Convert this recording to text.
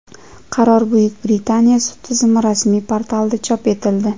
Qaror Buyuk Britaniya sud tizimi rasmiy portalida chop etildi.